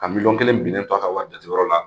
Ka miliyɔn kelen binnen to a ka wari jateyɔrɔ la